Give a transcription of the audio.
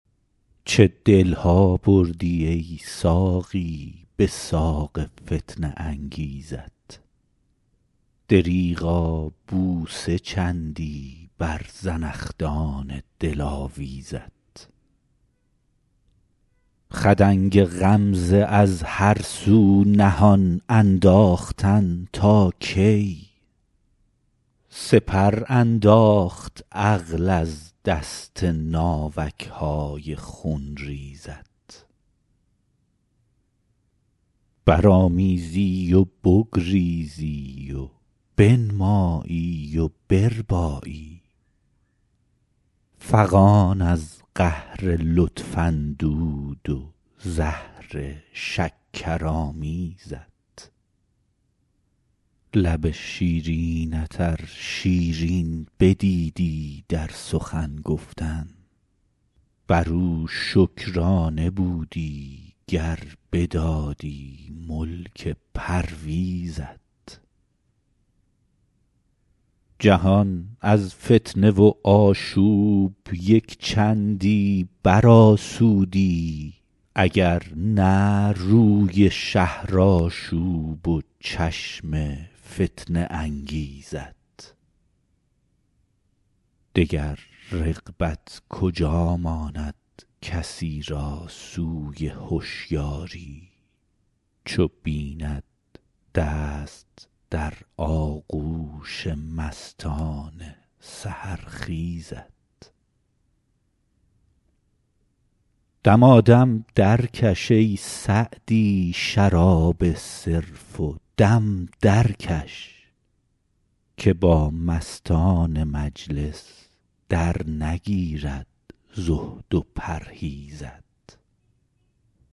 چه دل ها بردی ای ساقی به ساق فتنه انگیزت دریغا بوسه چندی بر زنخدان دلاویزت خدنگ غمزه از هر سو نهان انداختن تا کی سپر انداخت عقل از دست ناوک های خونریزت برآمیزی و بگریزی و بنمایی و بربایی فغان از قهر لطف اندود و زهر شکرآمیزت لب شیرینت ار شیرین بدیدی در سخن گفتن بر او شکرانه بودی گر بدادی ملک پرویزت جهان از فتنه و آشوب یک چندی برآسودی اگر نه روی شهرآشوب و چشم فتنه انگیزت دگر رغبت کجا ماند کسی را سوی هشیاری چو بیند دست در آغوش مستان سحرخیزت دمادم درکش ای سعدی شراب صرف و دم درکش که با مستان مجلس درنگیرد زهد و پرهیزت